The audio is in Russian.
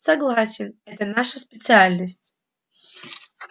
согласен это наша специальность